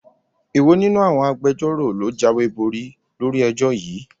Èwo nínú àwọn Agbẹjọ́rò ló jáwéborí lórí ẹjọ́ yìí?